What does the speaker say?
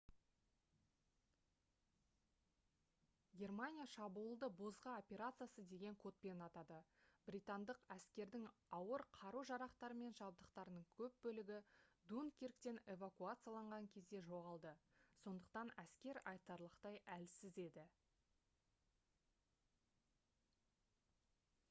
германия шабуылды «бозғы операциясы» деген кодпен атады. британдық әскердің ауыр қару-жарақтары мен жабдықтарының көп бөлігі дункирктен эвакуацияланған кезде жоғалды сондықтан әскер айтарлықтай әлсіз еді